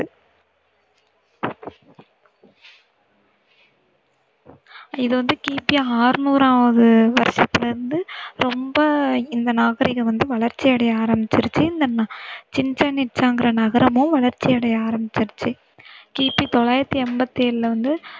இது வந்து கிபி அறுநூறாவது வருஷத்துல இருந்து ரொம்ப இந்த நாகரிகம் வந்து வளர்ச்சி அடைய ஆரம்பிச்சுருச்சு. இந்த சிச்சென் இட்சாங்கிற நகரமும் வளர்ச்சி அடைய ஆரம்பிச்சுருச்சு. கிபி தொள்ளாயிரத்தி ஐம்பத்தேழுல வந்து